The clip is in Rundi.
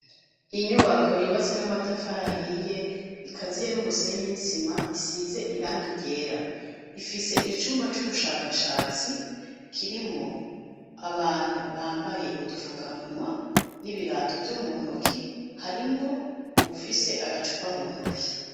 Inyubako yubatse n'amatafara ahiye. Ikaziye n'umusenyi n'isima isize irangi ryera. Ifise icumba c'ubushakashatsi kirimwo abantu bambaye udufukamunwa n'ibirato vyo mu ntoki; harimwo uwufise agacupa mu ntoki.